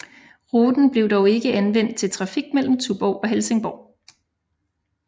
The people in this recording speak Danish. Ruten blev dog ikke anvendt til trafik mellem Tuborg og Helsingborg